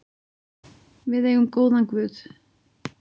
Við eigum góðan guð.